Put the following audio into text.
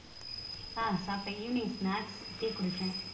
அஹ் சாப்பிட்டேன் evening snacks tea குடிச்சேன்